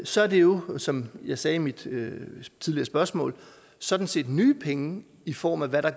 så er det jo som jeg sagde i mit tidligere spørgsmål sådan set nye penge i form af hvad der